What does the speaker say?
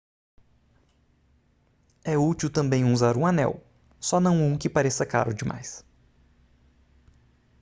é últil também usar um anel só não um que pareça caro demais